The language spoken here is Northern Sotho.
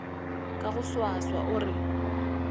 ka go swaswa o re